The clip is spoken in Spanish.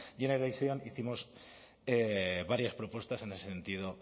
generation hicimos varias propuestas en ese sentido